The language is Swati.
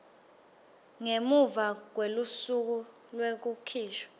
ngemuva kwelusuku lwekukhishwa